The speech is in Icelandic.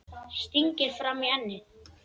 Stingir fram í ennið.